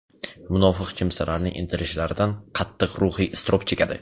munofiq kimsalarning intilishlaridan qattiq ruhiy iztirob chekadi.